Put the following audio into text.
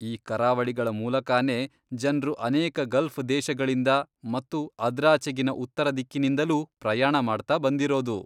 ಈ ಕರಾವಳಿಗಳ ಮೂಲಕಾನೇ ಜನ್ರು ಅನೇಕ ಗಲ್ಫ್ ದೇಶಗಳಿಂದ ಮತ್ತು ಅದ್ರಾಚೆಗಿನ ಉತ್ತರದಿಕ್ಕಿನಿಂದಲೂ ಪ್ರಯಾಣ ಮಾಡ್ತಾಬಂದಿರೋದು.